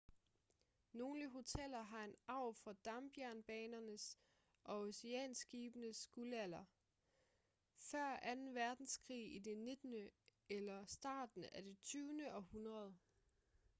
nogle hoteller har en arv fra dampjernbanernes og oceanskibenes guldalder før anden verdenskrig i det 19. eller starten af det 20. århundrede